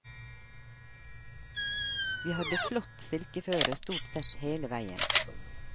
Vi hadde flott silkeføre stort sett hele veien.